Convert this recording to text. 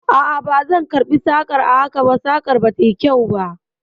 A a, bazan karɓi sakar haka ba, sakar ba ta yi kyau ba.